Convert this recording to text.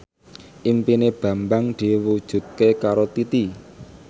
impine Bambang diwujudke karo Titi